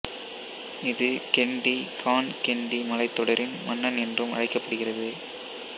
இது கென்டீ கான் கென்டீ மலைத்தொடரின் மன்னன் என்றும் அழைக்கப்படுகிறது